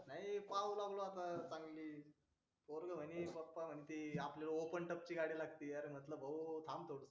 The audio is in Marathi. अरे पाव दमला होता पोरगं म्हणे पप्पा म्हणते आपल्याला ओपन टफची गाडी लागते अरे म्हटलं भाऊ थांब थोडं